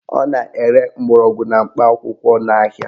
Ọ na-ere mgbọrọgwụ na mkpa akwụkwọ n'ahia